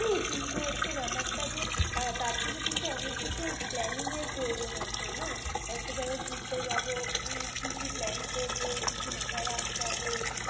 কিন্তু হচ্ছে, ব্যাপারটা যে আ তার জন্যে কিন্তু অনেক কিছু planning এর প্রয়োজন আছে না? একটা জাগায় ঘুরতে যাবো, কি কি plan করবো, কি কি মাথ্যা রাখতে হবে,